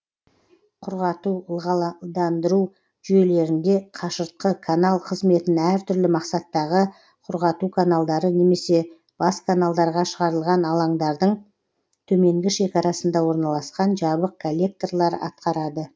құрғату ылғандандыру жүйелерінде қашыртқы канал қызметін әр түрлі мақсаттағы құрғату каналдары немесе бас каналдарға шығарылған алаңдардың төменгі шекарасында орналасқан жабық коллекторлар атқарады